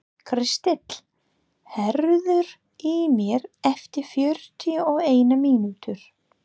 Kristall, heyrðu í mér eftir fjörutíu og eina mínútur.